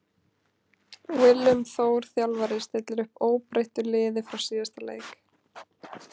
Willum Þór þjálfari stillir upp óbreyttur liði frá síðasta leik.